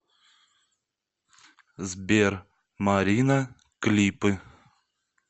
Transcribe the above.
сбер марина клипы